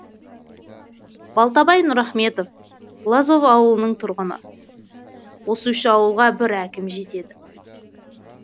балтабай нұрахметов лозов ауылының тұрғыны осы үш ауылға бір әкім жетеді